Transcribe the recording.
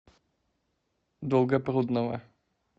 долгопрудного